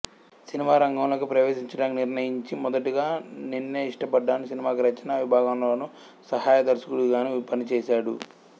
cinema రంగంలోకి ప్రవేశించడానికి నిర్ణయించి మొదటగా నిన్నే ఇష్టపడ్డాను సినిమాకి రచనా విభాగంలోను సహాయ దర్శకుడిగానూ పనిచేశాడు